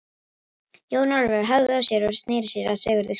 Jón Ólafur hægði á sér og sneri sér að Sigurði skólastjóra.